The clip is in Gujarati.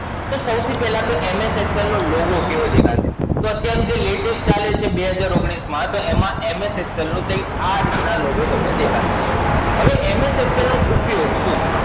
તો સૌથી પહેલા તો MS Excel નો Logo કેવો દેખાય છે? તો અત્યારે જે latest ચાલે છે બે હજાર ઓગણીસ માં, તો એમાં MS Excel નો કઈક આ રીત ના Logo તમને દેખાશે. હવે MS Excel નો ઉપયોગ શું છે?